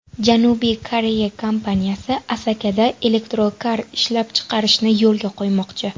Janubiy Koreya kompaniyasi Asakada elektrokar ishlab chiqarishni yo‘lga qo‘ymoqchi.